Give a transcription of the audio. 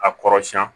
A kɔrɔsiyɛn